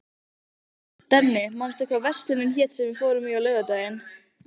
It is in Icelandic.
Denni, manstu hvað verslunin hét sem við fórum í á laugardaginn?